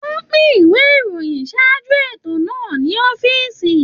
Wọn pin ìwé ìròyìn ṣáájú ètò náà ní ọ̀fiísí.